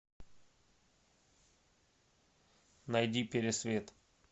найди пересвет